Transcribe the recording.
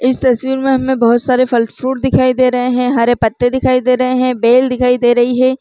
इस तस्वीर में हमें बहुत सारे फल फ्रूट दिखाई दे रहे हे हरे पत्ते दिखाई दे रहे हे बेल दिखाई दे रही हे।